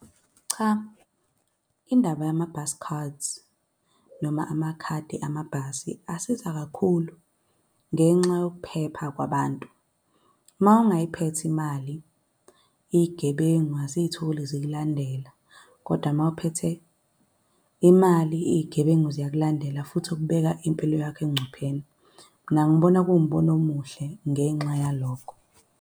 Cha, indaba yama-bus cards, noma amakhadi amabhasi, asiza kakhulu ngenxa yokuphepha kwabantu. Mawungayiphethe imali, iy'gebengu aziy'tholi zikulandela. Kodwa mawuphethe imali, iy'gebengu ziyakulandela, futhi kubeka impilo yakho engcupheni. Mina ngibona kuwumbono omuhle ngenxa yalokho.